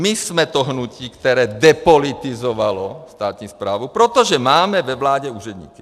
My jsme to hnutí, které depolitizovalo státní správu, protože máme ve vládě úředníky.